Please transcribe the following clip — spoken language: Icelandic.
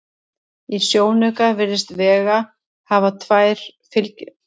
Í sjónauka virðist Vega hafa tvær fylgistjörnur, aðra af tíunda birtustigi en hina af tólfta.